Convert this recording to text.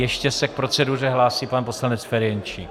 Ještě se k proceduře hlásí pan poslanec Ferjenčík.